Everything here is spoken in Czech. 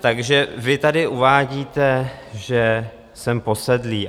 Takže vy tady uvádíte, že jsem posedlý.